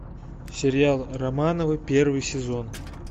сериал романовы первый сезон